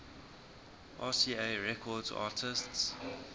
rca records artists